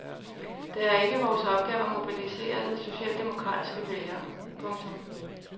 Det er ikke vores opgave at mobilisere socialdemokratiske vælgere. punktum